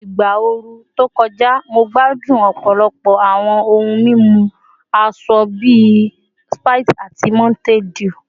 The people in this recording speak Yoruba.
Igba ooru to kọja, Mo gbadun ọpọlọpọ awọn ohun mimu asọ bi Sprite ati Mountain Dew